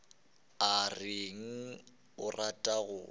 o reng o rata go